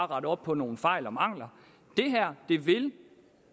rette op på nogle fejl og mangler det her vil